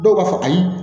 Dɔw b'a fɔ ayi